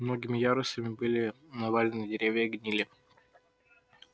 многими ярусами были навалены деревья и гнили